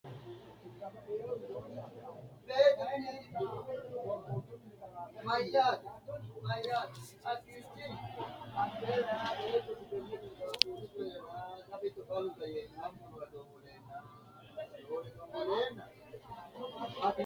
knuni maa leellishanno ? danano maati ? badheenni noori hiitto kuulaati ? mayi horo afirino ? kuni sumudu mayinniho maa xawisannoho gido qoolunni buubbanno saada maati